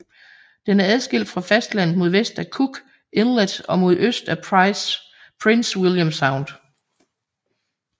Den er adskilt fra fastlandet mod vest af Cook Inlet og mod øst af Prince William Sound